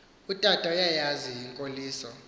utata uyayazi inkoliso